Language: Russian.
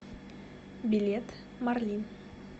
билет марлин